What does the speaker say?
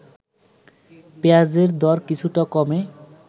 পেঁয়াজের দর কিছুটা কমে